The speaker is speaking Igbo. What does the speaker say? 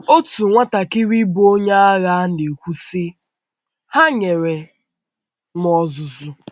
Otu nwatakịrị bụ́ onye agha na - ekwu, sị: “ Ha nyere m ọzụzụ.